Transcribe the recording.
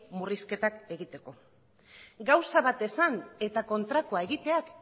murrizketa egiteko gauza bat esan eta kontrakoa egiteak